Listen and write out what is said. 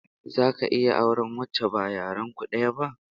Zaka iya auren wacce ba yaren ku daya ba?